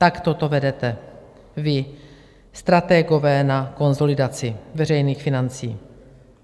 Takto to vedete, vy, stratégové na konsolidaci veřejných financí.